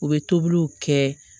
U bɛ tobiliw kɛ